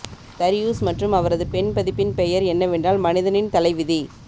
Darius மற்றும் அவரது பெண் பதிப்பின் பெயர் என்னவென்றால் மனிதனின் தலைவிதி